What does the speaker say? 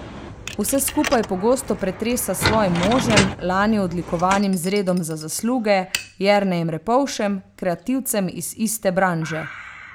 Vse skupaj pogosto pretresa s svojim možem, lani odlikovanim z redom za zasluge, Jernejem Repovšem, kreativcem iz iste branže.